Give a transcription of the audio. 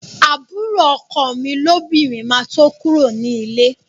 Àbúrò ọkọ mi lóbìnrin máa tó kúrò ní líle